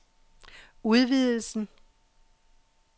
udvidelsen